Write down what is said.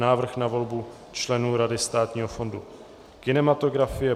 Návrh na volbu členů Rady Státního fondu kinematografie